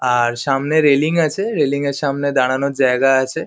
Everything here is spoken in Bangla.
আর সামনে রেলিং আছে। রেলিং -এর সামনে দাঁড়ানোর জায়গা আছে।